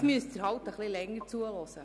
Nun müssen Sie eben etwas länger zuhören.